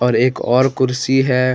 और एक और कुर्सी है।